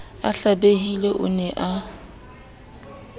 a hlabehile o ne a